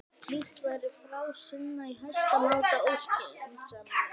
Slíkt væri fásinna og í hæsta máta óskynsamlegt.